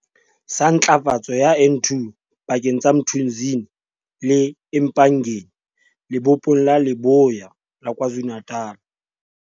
sa Ntlafatso ya N2 pakeng tsa Mthunzini le eMpangeni Lebopong la Leboya la Kwa Zulu-Natal.